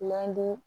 Landu